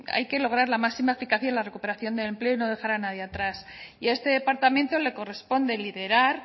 hay que lograr la máxima eficacia en la recuperación del empleo y no dejar a nadie atrás y a este departamento le corresponde liderar